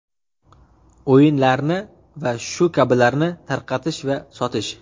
o‘yinlarni va shu kabilarni tarqatish va sotish;.